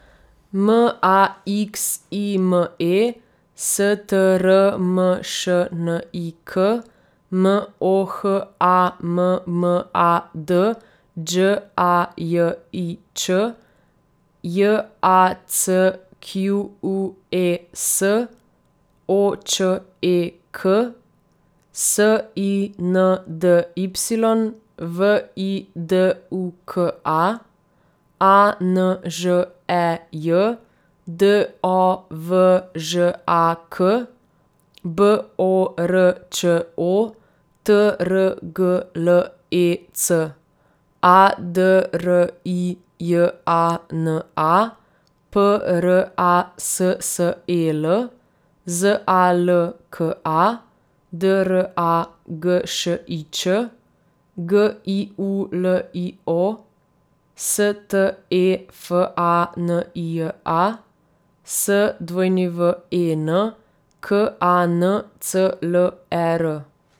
M A X I M E, S T R M Š N I K; M O H A M M A D, Đ A J I Ć; J A C Q U E S, O Č E K; S I N D Y, V I D U K A; A N Ž E J, D O V Ž A K; B O R Č O, T R G L E C; A D R I J A N A, P R A S S E L; Z A L K A, D R A G Š I Č; G I U L I O, S T E F A N I J A; S W E N, K A N C L E R.